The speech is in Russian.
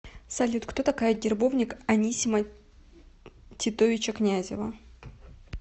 салют кто такая гербовник анисима титовича князева